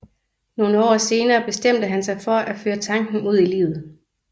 Nogle år senere bestemte han sig for at føre tanken ud i livet